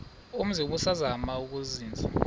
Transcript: umzi ubusazema ukuzinza